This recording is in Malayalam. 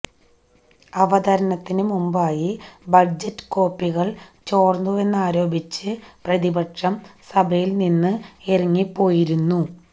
അവതരണത്തിന് മുമ്പായി ബജറ്റ് കോപ്പികള് ചോര്ന്നുവെന്നാരോപിച്ച് പ്രതിപക്ഷം സഭയില് നിന്ന് ഇറങ്ങിപ്പോയിരുന്നു